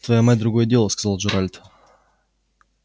твоя мать другое дело сказал джералд